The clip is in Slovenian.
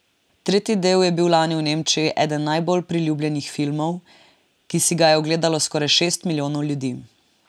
Tretji del je bil lani v Nemčiji eden najbolj priljubljenih filmov, ki si ga je ogledalo skoraj šest milijonov ljudi.